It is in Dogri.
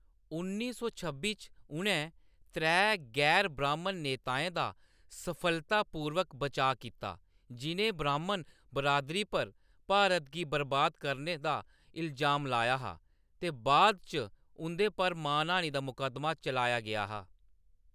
उन्नी सौ छब्बी च, उʼनैं त्रै गैर ब्राह्‌‌मन नेताएं दा सफलतापूर्वक बचाऽ कीता, जि'नें ब्राह्‌‌मन बिरादरी पर भारत गी बरबाद करने दा इलजाम लाया हा ते बाद च उं'दे पर मानहानि दा मकद्दमा चलाया गेआ हा।